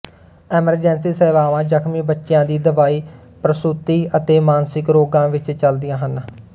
emergency ਸੇਵਾਵਾਂ ਜ਼ਖਮੀ ਬੱਚਿਆਂ ਦੀ ਦਵਾਈ ਪ੍ਰਸੂਤੀ ਅਤੇ ਮਾਨਸਿਕ ਰੋਗਾਂ ਵਿੱਚ ਚਲਦੀਆਂ ਹਨ